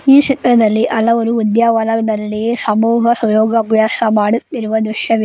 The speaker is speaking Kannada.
ಈ ಚಿತ್ರದಲ್ಲಿ ಹಲವಾರು ಉದ್ಯಾವನದಲ್ಲಿ ಸಮೂಹ ಸುಯೋಗ್ ಅಭ್ಯಾಸ ಮಾಡುತ್ತಿರುವ ದೃಶ್ಯವಿದೆ.